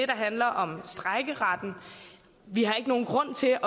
der handler om strejkeretten vi har ikke nogen grund til